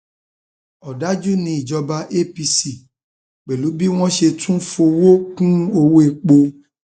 òdàjú um ní ìjọba apc pẹlú bí wọn ṣe tún fọwọ um kún ọwọ epo